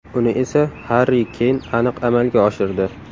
Uni esa Harri Keyn aniq amalga oshirdi.